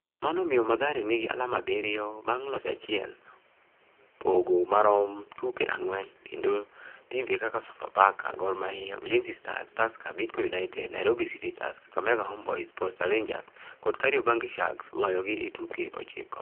Mano omiyo Mathare nigi alama abiriyo bang' loch achiel, pogo marom tuke ang'wen, kendo timbe kaka Sofapaka, Gor Mahia, Ulinzi Stars, Tusker, Bidco United, Nairobi City Stars, Kakamega Homeboyz, Posta Rangers kod Kariobangi Sharks loyogi e tuke ochiko.